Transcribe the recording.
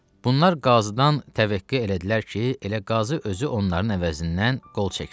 Bunlar qazıdan təvəqqə elədilər ki, elə qazı özü onların əvəzindən qol çəksin.